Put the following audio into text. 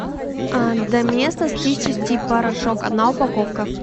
доместос чистящий порошок одна упаковка